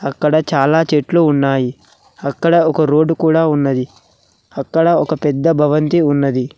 ఇక్కడ చాలా చెట్లు ఉన్నాయి అక్కడ ఒక రోడ్డు కూడా ఉన్నది అక్కడ ఒక పెద్ద భవంతి ఉన్నది.